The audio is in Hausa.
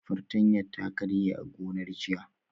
Fartanya ta karye a gonar jiya